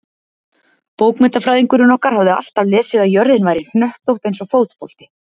Bókmenntafræðingurinn okkar hafði alltaf lesið að jörðin væri hnöttótt eins og fótbolti.